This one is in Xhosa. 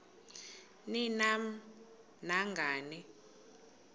ni nam nangani